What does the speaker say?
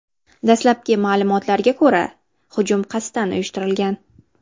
Dastlabki ma’lumotlarga ko‘ra, hujum qasddan uyushtirilgan.